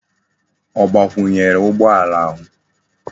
O gbakwunyere ugbo ala ahu?